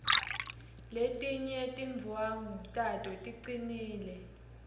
letinye tindwvangu tato ticinile